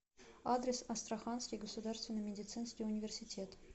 адрес астраханский государственный медицинский университет